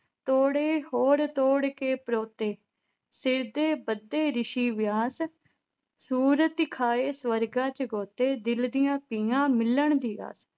ਤੋੜੇ, ਹੋਰ ਤੋੜ ਕੇ ਪ੍ਰੋਤੇ, ਸਿਰ ਤੇ ਬੱਧੇ ਰਿਸ਼ੀ ਵਿਆਸ, ਸੁਰਤੀ ਖਾਏ ਸੁਰਗਾਂ ਵਿੱਚ ਗੋਤੇ, ਦਿਲ ਦੀਆਂ ਪੀਆ ਮਿਲਣ ਦੀ ਆਸ।